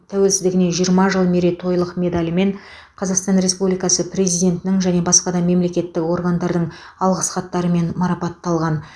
тәуелсіздігіне жиырма жыл мерейтойлық медалімен қазақстан республикасы президентінің және басқа да мемлекеттік органдардың алғыс хаттарымен марапатталған